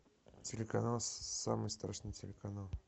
телеканал самый страшный телеканал